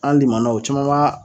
An limanaw caman b'a